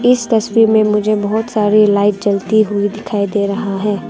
इस तस्वीर में मुझे बहुत सारी लाइट जलती हुई दिखाई दे रहा है।